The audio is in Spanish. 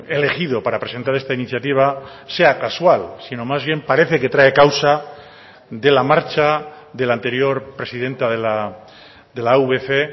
elegido para presentar esta iniciativa sea casual sino más bien parece que trae causa de la marcha del anterior presidenta de la avc